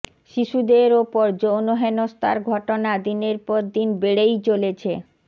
শিশুদের ওপর যৌন হেনস্থার ঘটনা দিনের পর দিন বেড়েই চলেছে